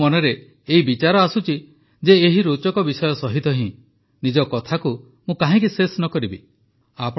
ଆଜି ମୋ ମନରେ ଏହି ବିଚାର ଆସୁଛି ଯେ ଏହି ରୋଚକ ବିଷୟ ସହିତ ହିଁ ନିଜ କଥାକୁ ମୁଁ କାହିଁକି ଶେଷ ନ କରିବି